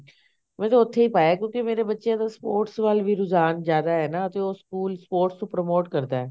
ਵੈਸੇ ਉੱਥੇ ਹੀ ਪਾਇਆ ਕਿਉਂਕਿ ਮੇਰੇ ਬੱਚਿਆ ਦਾ sports ਵੱਲ ਵੀ ਰੁਝਾਨ ਜਿਆਦਾ ਹੈ ਨਾ ਤੇ ਉਹ ਸਕੂਲ sports ਨੂੰ promote ਕਰਦਾ